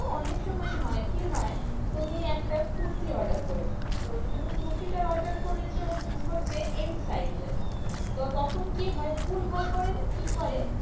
অনেক সময় হয় কি হয়? তুমি একটা কুর্তি order করেছো তো তুমি কুর্তিটা order করেছো হচ্ছে M size এর তো তখন কি হয়? ভুল ভাল করে না কি করে?